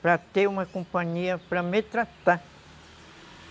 Para ter uma companhia, para me tratar.